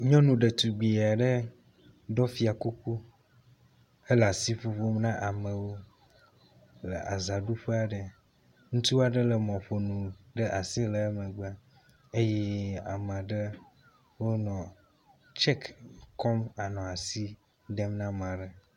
Nyɔnu ɖetugbui aɖe ɖɔ kuku hele asi ŋuŋum na amewo le azaɖuƒe aɖe. Ŋutsu aɖe lé mɔƒonu ɖe asi le emgbe eye amea ɖe wonɔ tsɛk kɔm le asi dem na amea ɖe.